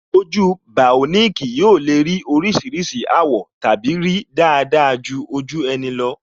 Ojú bioniki yóò le ní oríṣiríṣi àwọ̀ tàbí rí dáadáa ju ojú ẹni lọ